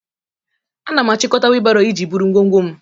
Ana m achịkọta wheelbarrow iji buru ngwongwo m.